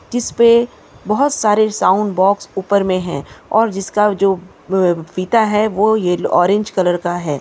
जिसपे बहुत सारे साउंड बॉक्स ऊपर में है और जिसका जो ब-- फीता है वो ये ऑरेंज का हैं।